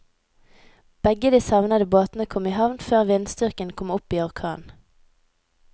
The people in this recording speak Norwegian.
Begge de savnede båtene kom i havn før vindstyrken kom opp i orkan.